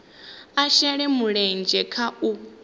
a shele mulenzhe kha u